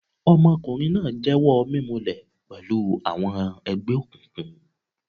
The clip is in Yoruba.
Ọmọkùnrin náà jẹ́wọ́ mímulẹ̀y pẹ̀lú àwọn ẹgbẹ́ òkùnkùn.